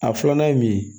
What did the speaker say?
A filanan ye mun ye